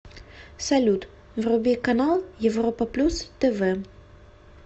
салют вруби канал европа плюс тв